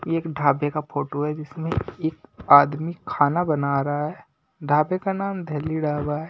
ये एक ढाबे का फोटो है जिसमें एक आदमी खाना बना रहा है ढाबे का नाम दिल्ली ढाबा है।